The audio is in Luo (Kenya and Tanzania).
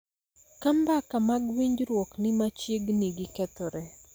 Ka mbaka mag winjruok ni machiegni gi kethore,